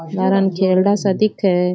लार न ख़ेरडा सा दिखे है।